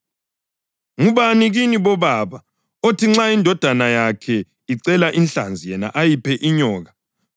Ngubani kini bobaba, okuthi nxa indodana yakhe icela inhlanzi yena ayiphe inyoka?